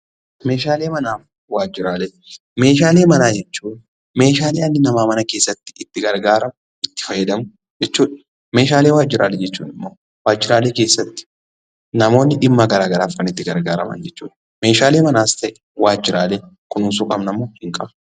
Meeshaalee Manaa fi Waajjiraalee: Meeshaalee manaa jechuun meeshaalee dhalli namaa mana keessatti itti gargaaramu itti fayyadamu jechuu dha. Meeshaalee waajjiraalee jechuun immoo, waajjiraalee keessatti namoonni dhimma garaagaraaf kan itti gargaaraman jechuu dha. Meeshaalee manaas ta'e waajjiraalee kunuunsuu qabna moo hin qabnu?